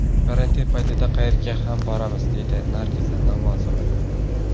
Karantin paytida qayerga ham boramiz?”, deydi Nargiza Namozova.